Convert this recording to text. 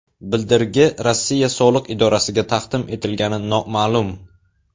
Bildirgi Rossiya soliq idorasiga taqdim etilganligi noma’lum.